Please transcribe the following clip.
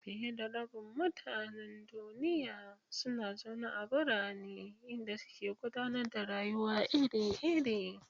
Fiye da rabin mutanen duniya suna zaune a birane, inda suke gudanar da rayuwa iri-iri.